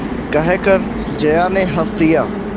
कहकर जया ने हँस दिया